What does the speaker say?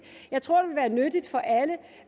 jeg tror det vil være nyttigt for alle